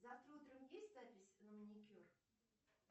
завтра утром есть запись на маникюр